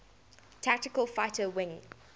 tactical fighter wing